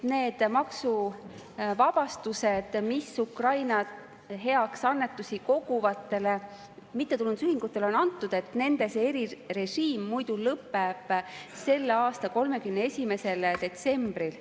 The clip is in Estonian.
Ukraina heaks annetusi koguvatele mittetulundusühingutele antud maksuvabastuste erirežiim muidu lõpeb selle aasta 31. detsembril.